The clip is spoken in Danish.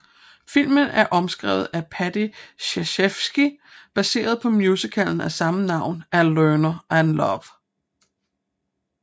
Filmen er omskrevet af Paddy Chayefsky baseret på musicalen af samme navn af Lerner and Loewe